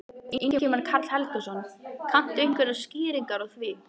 Ingimar Karl Helgason: Kanntu einhverjar skýringar á því?